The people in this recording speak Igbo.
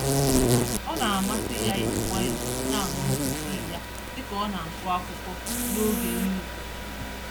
Ọna amasị ya iji nwayọọ nañụrụtụ tii ya, dịka ọna-agụ akụkọ, n'oge nri ụtụtụ